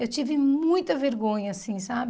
Eu tive muita vergonha, assim, sabe?